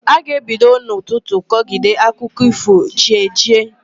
Ọ ga-ebido n'ụtụtụ kọgide akụkọ ífò chi ejiee.